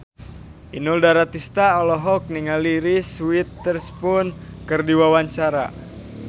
Inul Daratista olohok ningali Reese Witherspoon keur diwawancara